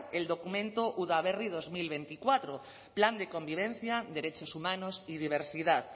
el documento udaberri dos mil veinticuatro plan de convivencia derechos humanos y diversidad